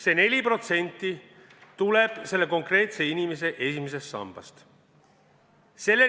See 4% tuleb selle konkreetse inimese esimesest sambast.